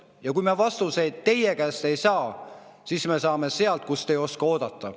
Ja kui me vastuseid teie käest ei saa, siis me saame sealt, kust te ei oska oodata.